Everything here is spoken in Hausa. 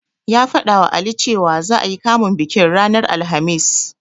Ya faɗawa Ali cewa, za'a yi kamun bikin ranar Alhamis.